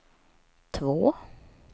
två